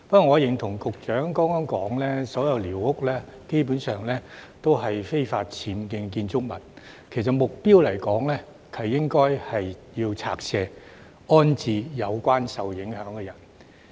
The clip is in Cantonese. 我認同局長剛才說所有寮屋基本上都是非法僭建的建築物，就目標來說，是應該拆卸的，安置受影響的人。